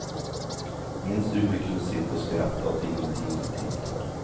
Minns du hur vi kunde sitta och skratta åt ingenting i timtal?